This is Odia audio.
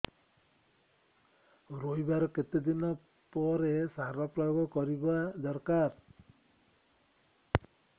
ରୋଈବା ର କେତେ ଦିନ ପରେ ସାର ପ୍ରୋୟାଗ କରିବା ଦରକାର